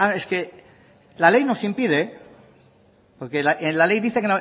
es que la ley nos impide porque en la ley dice